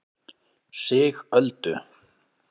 Sigöldu